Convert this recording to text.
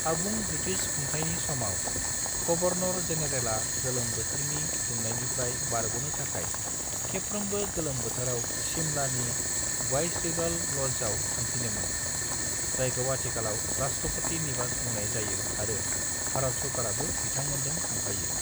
आबुं ब्रिटिश खुंथायनि समाव, गवर्नर-जेनेरेलआ गोलोम बोथोरनि दुंनायनिफ्राय बारग'नो थाखाय खेबफ्रोमबो गोलोम बोथोराव शिमलानि वाइसरीगल लजआव थांफिनोमोम, जायखौ आथिखालाव राष्ट्रपति निवास बुंनाय जायो आरो भारत सरकाराबो बिंथांमोनजों थांफायो।